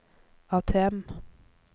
ATM